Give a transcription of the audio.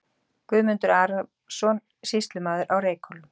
Guðmundur Arason, sýslumaður á Reykhólum.